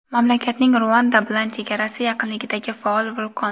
mamlakatning Ruanda bilan chegarasi yaqinidagi faol vulqon.